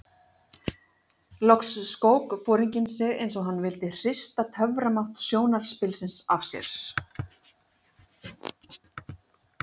Loks skók foringinn sig eins og hann vildi hrista töframátt sjónarspilsins af sér.